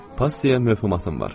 Passiyaya möhtəmatım var.